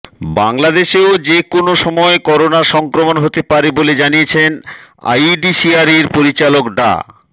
বাংলাদেশেও যে কোনো সময় করোনার সংক্রমণ হতে পারে বলে জানিয়েছেন আইইডিসিআরের পরিচালক ডা